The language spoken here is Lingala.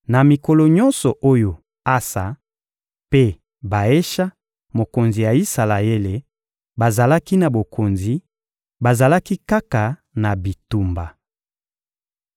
Na mikolo nyonso oyo Asa mpe Baesha, mokonzi ya Isalaele, bazalaki na bokonzi, bazalaki kaka na bitumba.